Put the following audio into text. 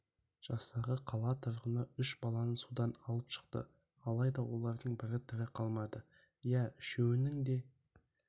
жастағы қала тұрғыны үш баланы судан алып шықты алайда олардың бірі тірі қалмады иә үшеуінің де